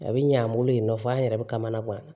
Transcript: A bi ɲ'an bolo yen nɔ fɔ an yɛrɛ bɛ kamana gan